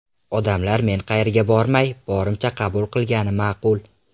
Odamlar meni qayerga bormay, borimcha qabul qilgani ma’qul”.